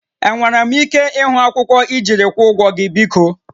Enwere m ike ịhụ akwụkwọ ijiri ịkwụọ ụgwọ gị biko?